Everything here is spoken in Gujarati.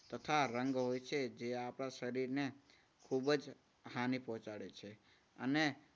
તથા રંગો હોય છે જે આપણા શરીરને ખૂબ જ હાનિ પહોંચાડે છે. અને